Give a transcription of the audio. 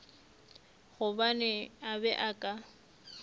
gobane a be a ka